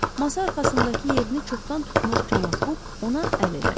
Masa arxasındakı yerini çoxdan tutmuş cənab Buq ona əl elədi.